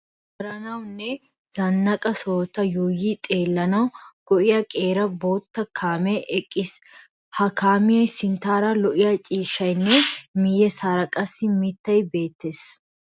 Manddaranawu nne zannaqa sohota yuuyi xeellanawu go"iya qeera bootta kaamee eqqiis. Ha kaamiyassi sinttaara lo"iya ciishshay nne miyyessaara qassi mittay beettes.